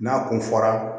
N'a kun fɔra